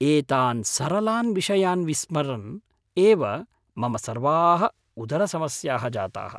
एतान् सरलान् विषयान् विस्मरन् एव मम सर्वाः उदरसमस्याः जाताः।